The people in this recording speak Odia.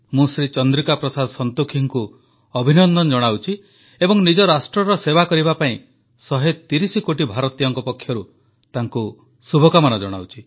ମୁଁ ଶ୍ରୀ ଚନ୍ଦ୍ରିକା ପ୍ରସାଦ ସଂତୋଖିଙ୍କୁ ଅଭିନନ୍ଦନ ଜଣାଉଛି ଏବଂ ନିଜ ରାଷ୍ଟ୍ରର ସେବା କରିବା ପାଇଁ 130 କୋଟି ଭାରତୀୟଙ୍କ ପକ୍ଷରୁ ତାଙ୍କୁ ଶୁଭକାମନା ଜଣାଉଛି